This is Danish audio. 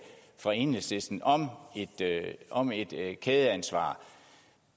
fra enhedslisten om om et kædeansvar